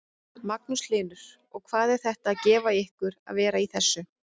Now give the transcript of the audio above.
Magnús Hlynur: Og hvað er þetta að gefa ykkur að vera í þessu?